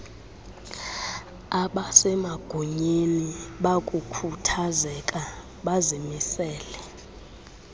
abasemagunyeni bakukhuthazeka bazimisele